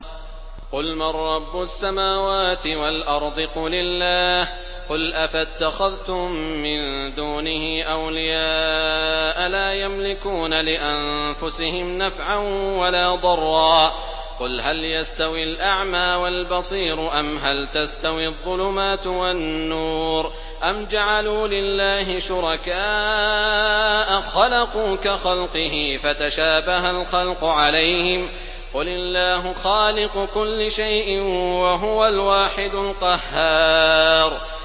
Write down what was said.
قُلْ مَن رَّبُّ السَّمَاوَاتِ وَالْأَرْضِ قُلِ اللَّهُ ۚ قُلْ أَفَاتَّخَذْتُم مِّن دُونِهِ أَوْلِيَاءَ لَا يَمْلِكُونَ لِأَنفُسِهِمْ نَفْعًا وَلَا ضَرًّا ۚ قُلْ هَلْ يَسْتَوِي الْأَعْمَىٰ وَالْبَصِيرُ أَمْ هَلْ تَسْتَوِي الظُّلُمَاتُ وَالنُّورُ ۗ أَمْ جَعَلُوا لِلَّهِ شُرَكَاءَ خَلَقُوا كَخَلْقِهِ فَتَشَابَهَ الْخَلْقُ عَلَيْهِمْ ۚ قُلِ اللَّهُ خَالِقُ كُلِّ شَيْءٍ وَهُوَ الْوَاحِدُ الْقَهَّارُ